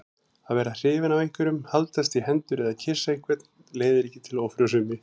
Að verða hrifinn af einhverjum, haldast í hendur eða kyssa einhvern leiðir ekki til ófrjósemi.